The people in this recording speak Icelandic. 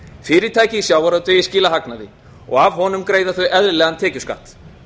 fyrirtæki í sjávarútvegi skila hagnaði og af honum greiða þau eðlilegan tekjuskatt